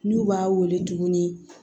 N'u b'a wele tuguni